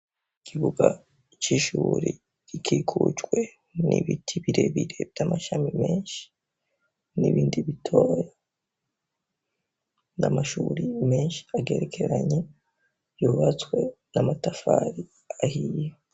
Kibuga cishuri rikikucwe n'ibiti birebire vy'amashami menshi n'ibindi bitoya. Namashuri menshi agerekeranye yubatswe n'amatafari ahiye.